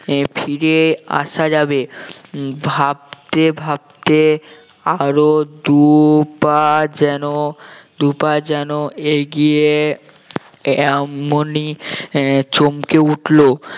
আহ ফিরে আসা যাবে উম ভাবতে ভাবতে আরো দুই পা যেন দুই পা যেন এগিয়ে এমনি আহ এমনি চমকে উঠলো